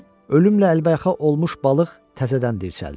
Ölümlə əlbəyaxa olmuş balıq təzədən dirçəldi.